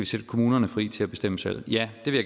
sætte kommunerne fri til at bestemme selv ja det vil